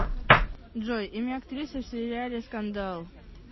джой имя актрисы в сериале скандал